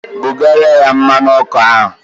Bugara ya mmanụ ọkụ ahụ!